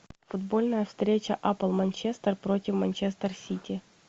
футбольная встреча апл манчестер против манчестер сити